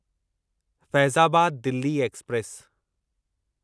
Faizabad Delhi express